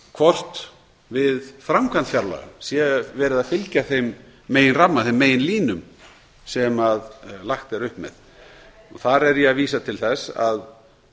hvort við framkvæmd fjárlaga sé fylgt þeim meginlínum sem lagt er upp með þar vísa ég til þess að